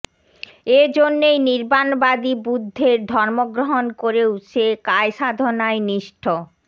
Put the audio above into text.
এ জন্যেই নির্বাণবাদী বুদ্ধের ধর্মগ্রহণ করেও সে কায়াসাধনায় নিষ্ঠ